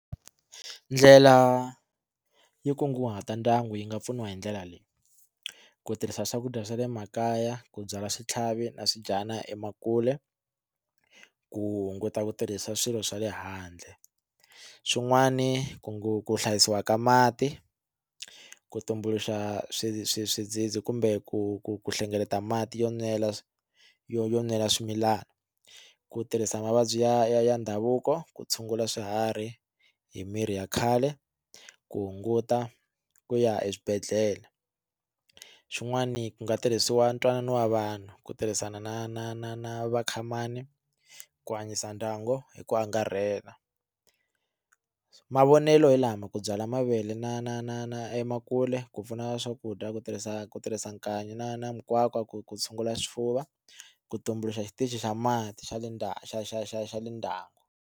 Ndlela yo kunguhata ndyangu yi nga pfuniwa hi ndlela ley, i ku tirhisa swakudya swa le makaya, ku byala switlhavi na swidyana emakule ku hunguta ku tirhisa swilo swa le handle swin'wani ku hlayisiwa ka mati ku tumbuluxa swi swi swi dzidzi kumbe ku ku ku hlengeleta mati yo nwela yo yo nwela swimilana ku tirhisa mavabyi ya ya ndhavuko ku tshungula swiharhi hi mirhi ya khale ku hunguta ku ya eswibedhlele xin'wani ku nga tirhisiwa ntwanano wa vanhu ku tirhisana na na na na vakhamani ku hanyisa ndyangu hi ku angarhela mavonelo hi lama ku byala mavele na na na na emakule ku pfuna swakudya ku tirhisa ku tirhisa nkanyi na na mikwakwa ku ku tshungula swifuva ku tumbuluxa xitichi xa mati xa le xa xa xa xa le ndhaku.